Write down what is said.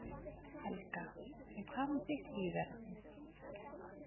Helga: En hvað með þitt líferni?